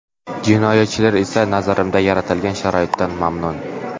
Jinoyatchilar esa nazarimizda yaratilgan sharoitdan mamnun.